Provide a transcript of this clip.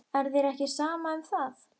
Er þér ekki sama um það?